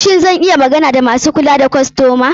Shin zan iya magana da masu kula da kostoma?